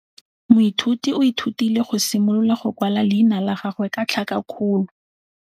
Moithuti o ithutile go simolola go kwala leina la gagwe ka tlhakakgolo.